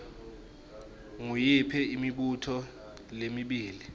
nguyiphi imibuto lemibili